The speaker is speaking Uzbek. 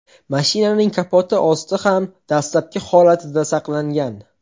Mashinaning kapoti osti ham dastlabki holatida saqlangan.